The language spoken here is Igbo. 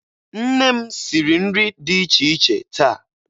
Nne m siri nri dị iche iche taa.